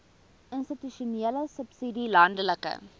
institusionele subsidie landelike